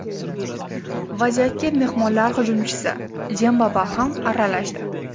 Vaziyatga mehmonlar hujumchisi Demba Ba ham aralashdi.